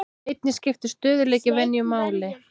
Einnig skiptir stöðugleiki venju máli.